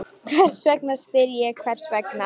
Hvers vegna, spyr ég, hvers vegna?